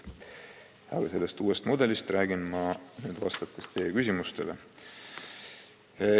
Aga sellest uuest mudelist räägin ma, kui vastan teie küsimustele.